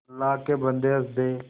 अल्लाह के बन्दे हंस दे